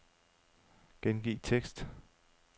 Gengiv tekst.